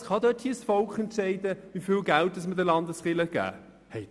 Kann dort das Volk entscheiden, wie viel Geld wir den Landeskirchen geben?